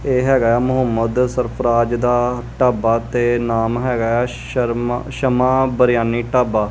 ਇਹ ਹੈਗਾ ਹੈ ਮੁਹੰਮੱਦ ਸਰਫ਼ਰਾਜ਼ ਦਾ ਢਾਬਾ ਤੇ ਨਾਮ ਹੈਗਾ ਹੈ ਸ਼ਰਮਾ ਸ਼ਮਾ ਬਿਰਯਾਨੀ ਢਾਬਾ।